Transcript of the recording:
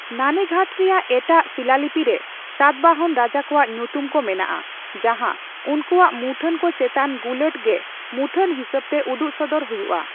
ᱱᱟᱱᱮᱜᱷᱟᱴ ᱨᱮᱭᱟᱜ ᱮᱴᱟᱜ ᱥᱤᱞᱟᱞᱤᱯᱤ ᱨᱮ ᱥᱟᱛᱵᱟᱦᱚᱱ ᱨᱟᱡᱟ ᱠᱚᱣᱟᱜ ᱧᱩᱛᱩᱢ ᱠᱚ ᱢᱮᱱᱟᱜᱼᱟ, ᱡᱟᱦᱟᱸ ᱩᱱᱠᱩᱣᱟᱜ ᱢᱩᱴᱷᱟᱹᱱᱠᱚ ᱪᱮᱛᱟᱱ ᱜᱩᱞᱟᱹᱴ ᱜᱮ ᱢᱩᱴᱷᱟᱹᱱ ᱦᱤᱥᱟᱹᱵᱛᱮ ᱩᱫᱩᱜᱥᱚᱫᱚᱨ ᱦᱩᱭᱩᱜᱼᱟ ᱾